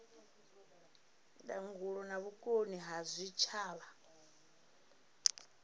ndangulo na vhukoni ha zwitshavha